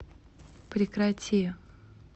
прекрати